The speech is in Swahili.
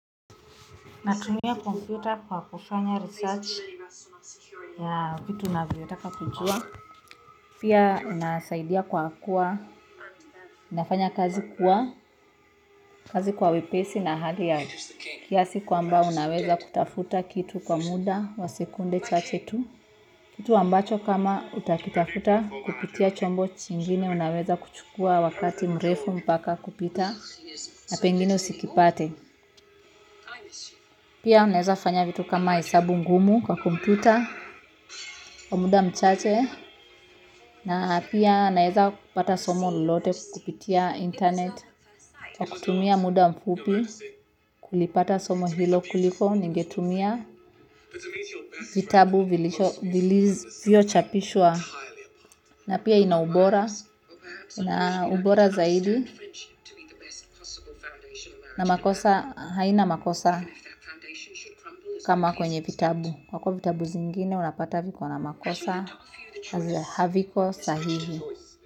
Natumia kompyuta kwa kufanya research ya vitu ninavyotaka kujua. Pia inasaidia kwa kuwa, nafanya kazi kwa wepesi na hali ya kiasi kwamba unaweza kutafuta kitu kwa muda wa sekunde chache tu. Kitu ambacho kama utakitafuta kupitia chombo chingine, unaweza kuchukua wakati mrefu mpaka kupita na pengine usikipate. Pia naweza fanya vitu kama hesabu ngumu kwa kompyuta kwa muda mchache. Na pia naweza kupata somo lolote kupitia internet kwa kutumia muda mfupi kulipata somo hilo kuliko ningetumia vitabu vilivyochapishwa. Na pia ina ubora, ina ubora zaidi haina makosa kama kwenye vitabu. Kwa kuwa vitabu zingine unapata viko na makosa, haviko sahihi.